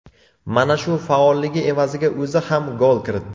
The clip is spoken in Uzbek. Mana shu faolligi evaziga o‘zi ham gol kiritdi.